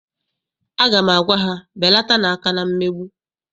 Aga m agwa ha, belatanu aka na mmegbu!